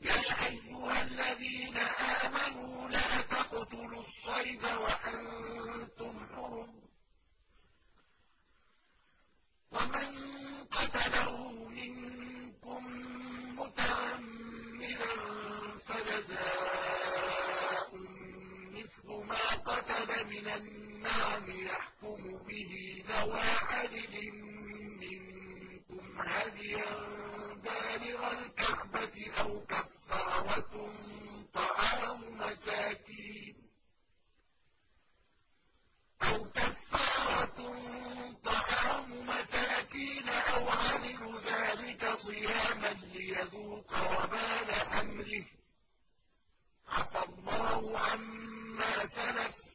يَا أَيُّهَا الَّذِينَ آمَنُوا لَا تَقْتُلُوا الصَّيْدَ وَأَنتُمْ حُرُمٌ ۚ وَمَن قَتَلَهُ مِنكُم مُّتَعَمِّدًا فَجَزَاءٌ مِّثْلُ مَا قَتَلَ مِنَ النَّعَمِ يَحْكُمُ بِهِ ذَوَا عَدْلٍ مِّنكُمْ هَدْيًا بَالِغَ الْكَعْبَةِ أَوْ كَفَّارَةٌ طَعَامُ مَسَاكِينَ أَوْ عَدْلُ ذَٰلِكَ صِيَامًا لِّيَذُوقَ وَبَالَ أَمْرِهِ ۗ عَفَا اللَّهُ عَمَّا سَلَفَ ۚ